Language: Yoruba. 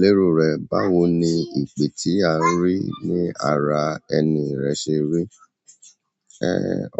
Lérò rẹ, báwo ni ìpè tí à ń rí ní ara ẹni rẹ ṣe rí?